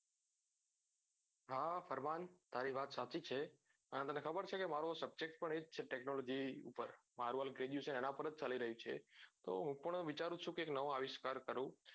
હા ફરમાન તારી વવત સાચી જ છે અને તને ખબર છે કે મારો subject પણ એ જ છે technology ઉપર મારું હાલ graduation એના ઉપર જ ચાલી રહ્યું છે તો હું પણ વિચારૂ છું કે એક નવો આવિષ્કાર કરું